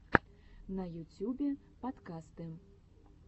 на ютюбе подкасты